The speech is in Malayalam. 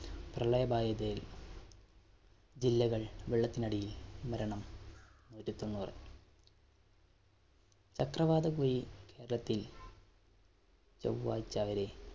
പ്രളയ ബാധിതയില്‍ ജില്ലകള്‍ വെള്ളത്തിനടിയില്‍. മരണം, നൂറ്റി തൊണ്ണൂറ്. ചക്രവാത രത്തില്‍ ചൊവ്വാഴ്ച്ച വരെ.